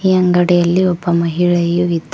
ಈ ಅಂಗಡಿಯಲ್ಲಿ ಒಬ್ಬ ಮಹಿಳೆಯು ಇದ್ದಾಳೆ.